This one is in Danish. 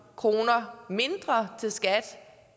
kroner mindre til skat